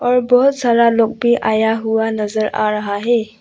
और बहुत सारा लोग भी आया हुआ नजर आ रहा है।